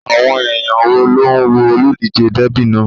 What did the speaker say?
Àwọn èèyàn wo ló ń wo olùdíjé dẹ́bì náà?